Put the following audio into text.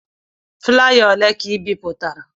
Flaya ole ka ị bipụtara?